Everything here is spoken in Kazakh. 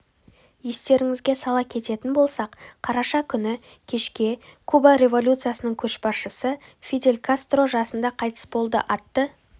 естеріңізге сала кететін болсақ қараша күні кешке куба революциясының көшбасшысы фидель кастро жасында қайтыс болды аты